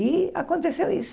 E aconteceu isso.